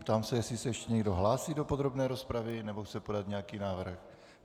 Ptám se, jestli se ještě někdo hlásí do podrobné rozpravy nebo chce podat nějaký návrh.